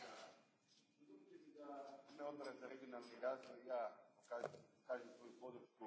Gospođo predsjednice, dozvolite mi da i ja u ime Odbora za regionalni razvoj iskažem svoju